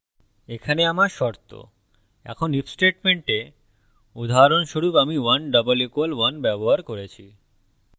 এখানে আমার শর্ত এখন if statementএ উদাহরণস্বরূপ my 1 == 1 ব্যবহার করেছি